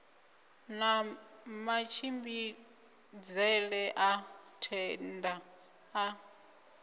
na matshimbidzele a thenda a